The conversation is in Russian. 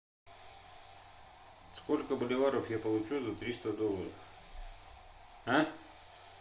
сколько боливаров я получу за триста долларов а